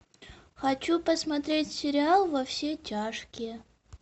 хочу посмотреть сериал во все тяжкие